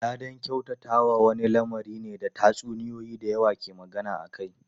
Ladan kyautatawa wani lamari ne da tatsuniyoyi da yawa ke magana akai.